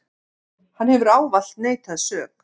Hann hefur ávallt neitað sök.